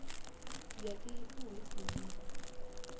ya ifa hu si na